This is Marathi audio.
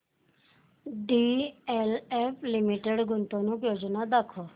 डीएलएफ लिमिटेड गुंतवणूक योजना दाखव